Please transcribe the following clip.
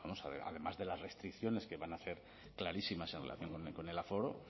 además de las restricciones que van a ser clarísimas en relación con el aforo